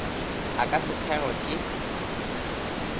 a ka se thekgwe ke